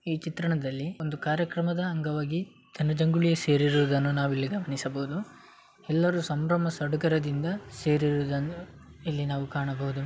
ಈ ಚಿತ್ರಣದಲ್ಲಿ ಒಂದು ಕಾರ್ಯಕ್ರಮದ ಅಂಗವಾಗಿ ಜನಜಂಗುಳಿ ಸೇರಿರುವುದನ್ನು ನಾವು ಇಲ್ಲಿ ಗಮನಿಸಬಹುದು ಎಲ್ಲರು ಸಂಭ್ರಮ ಸಡಗರದಿಂದ ಸೇರಿರುವುದನ್ನು ಇಲ್ಲಿ ನಾವು ಕಾಣಬಹುದು .